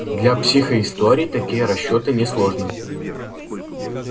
для психоистории такие расчёты несложны